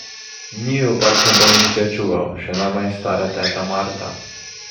Njiju pač ne bo nihče čuval, še najmanj stara teta Marta!